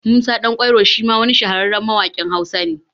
Musa Ɗan kwairo shima wani shahararren mawaƙin Hausa ne